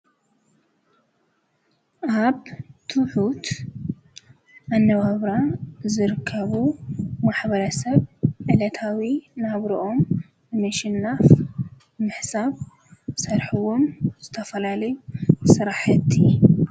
አብ ትሑት መነባብሮ ዝርከቡ ማሕበረሰብ ዕለታዊ ናብረኦም ንምሽናፍ ብምሕሳብ ዝሰርሕዎም ዝተፈላለዩ ስራሕቲ ።